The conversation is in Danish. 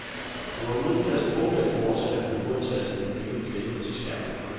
Du er uden fast bopæl, fortsatte hun uantastet med blikket klæbet til skærmen.